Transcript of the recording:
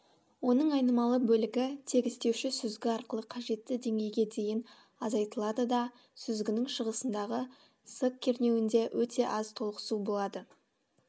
оның айнымалы бөлігі тегістеуші сүзгі арқылы қажетті деңгейге дейін азайтылады да сүзгінің шығысындағы с кернеуінде өте аз толықсу болады